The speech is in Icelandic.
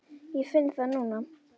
Ég finn það núna.